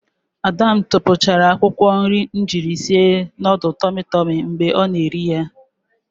Ada m tupuchara akwukwo nri m jiri sie nudul tomi tomi mgbe ọ na-eri ya.